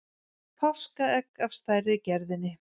páskaegg af stærri gerðinni